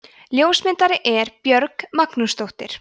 ljósmyndari er björg magnúsdóttir